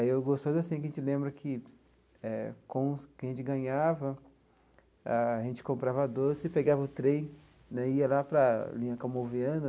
Aí o gostoso assim que a gente lembra que eh com que a gente ganhava ah, a gente comprava doce, pegava o trem né, ia lá para linha Calmon Viana.